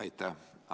Aitäh!